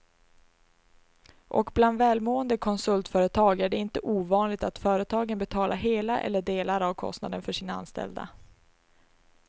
Och bland välmående konsultföretag är det inte ovanligt att företaget betalar hela eller delar av kostnaden för sina anställda.